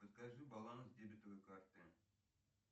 подскажи баланс дебетовой карты